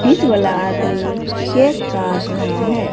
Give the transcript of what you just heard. इस वाला आदमी केक काट रहा है।